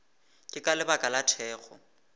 ke ka lebaka la thekgo